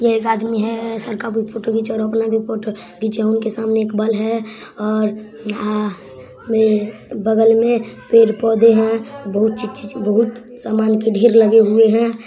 ये एक आदमी है सर का बहुत फोटो घीच रहा है और अपना भी फोटो घीचा | उनके सामने एक बल है ए आ और वे बगल में पेड़ पौधे हैं बहुत चीज़ चीज़ बहुत सामान के ढेर लगे हुए हैं।